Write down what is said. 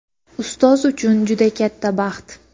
ustoz uchun juda katta baxt.